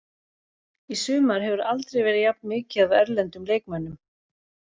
Í sumar hefur aldrei verið jafn mikið af erlendum leikmönnum.